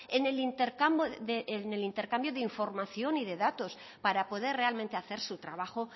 en el intercambio de información y de datos para poder realmente hacer su trabajo